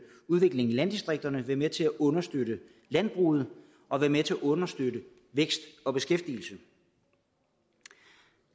udviklingen i landdistrikterne være med til at understøtte landbruget og være med til at understøtte vækst og beskæftigelse